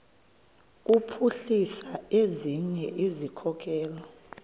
kuphuhlisa ezinye izikhokelo